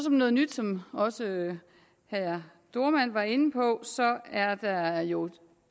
noget nyt som også herre dohrmann var inde på er der jo